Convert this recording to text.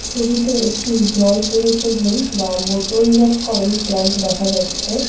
ছবিতে একটি জল পরিশোধন বা বোতল জাতকরণ প্ল্যান্ট দেখা যাচ্ছে।